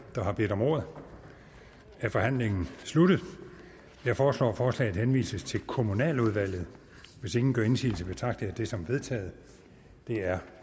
der har bedt om ordet er forhandlingen sluttet jeg foreslår at forslaget henvises til kommunaludvalget hvis ingen gør indsigelse betragter jeg det som vedtaget det er